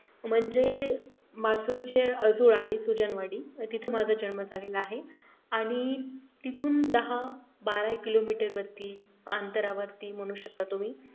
म्हणजे मासूळचे अजूळ आहे सुजन वाडी तिथे माझा जन्म झालेला आहे आणि तिथून दहा-बारा kilometer वरती अंतरावरती म्हणू शकता तुम्ही